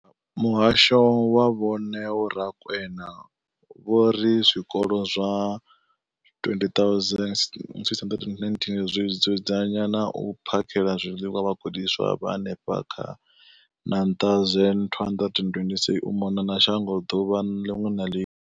Muhasho wa Vho Neo Rakwena, vho ri zwikolo zwa 20 619 zwi dzudzanya na u phakhela zwiḽiwa vhagudiswa vha henefha kha 9226 u mona na shango ḓuvha ḽiṅwe na ḽiṅwe.